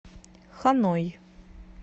ханой